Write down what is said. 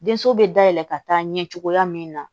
Denso bɛ dayɛlɛ ka taa ɲɛ cogoya min na